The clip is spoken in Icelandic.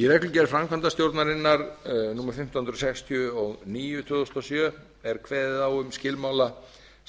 í reglugerð framkvæmdastjórnarinnar númer fimmtán hundruð sextíu og níu tvö þúsund og sjö er kveðið á um skilmála